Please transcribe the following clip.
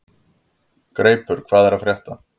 Greipur, hvað er að frétta?